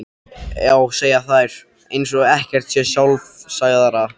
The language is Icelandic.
Já, segja þær eins og ekkert sé sjálfsagðara.